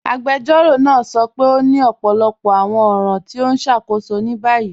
Agbẹjọ́rọ̀ naa sọ pé o ni ọpọlọpọ awọn ọ̀ran ti o n ṣákóṣọ ni bayí.